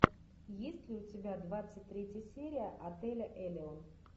есть ли у тебя двадцать третья серия отеля элеон